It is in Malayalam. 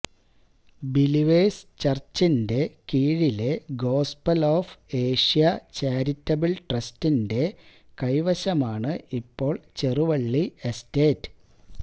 ബിലീവേഴ്സ് ചർച്ചിന്റെ കീഴിലെ ഗോസ്പൽ ഓഫ് ഏഷ്യ ചാരിറ്റബിൾ ട്രസ്റ്റിന്റെ കൈവശമാണ് ഇപ്പോൾ ചെറുവള്ളി എസ്റ്റേറ്റ്